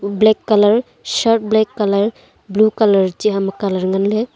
black colour shirt black colour blue colour chih hum akan ley ngan ley tai ley.